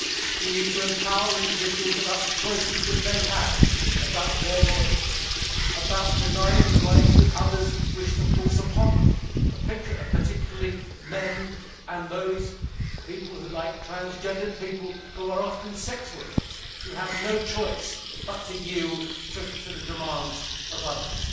We need to empower individuals about the choices they have, about their bodies and about denying the rights that others wish to force upon them particularly men or those, like transgendered people, who are often sex workers and have no choice but to yield to the demands of others.